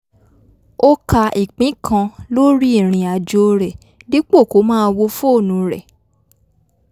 ó ka ìpín kan lórí ìrìn àjò rẹ̀ dípò kó máa wo fóònù rẹ̀